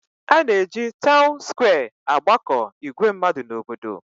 A na-eji taun skwee agbakọ ìgwè mmadụ n'obodo.